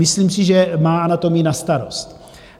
Myslím si, že má anatomii na starost.